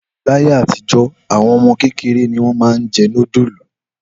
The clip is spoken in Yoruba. Láyé àtijọ́, àwọn ọmọ kéékèèké ni wọ́n máa ń jẹ nudulu